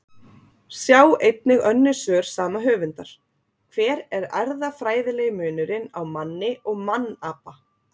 Sjá einnig önnur svör sama höfundar: Hver er erfðafræðilegi munurinn á manni og mannapa?